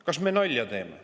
Kas me teeme nalja?